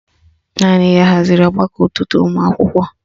Naanị ya haziri ọgbakọ ụtụtụ ụmụakwụkwọ